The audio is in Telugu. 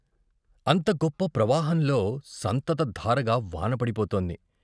అంత గొప్ప ప్రవాహంలో సంతత ధారగా వానవడిపోతోంది.